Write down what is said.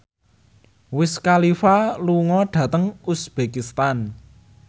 Wiz Khalifa lunga dhateng uzbekistan